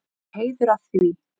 Mér er heiður að því.